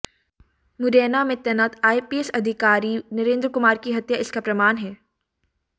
मुरैना में तैनात आईपीएस अधिकारी नरेंद्र कुमार की हत्या इसका प्रमाण है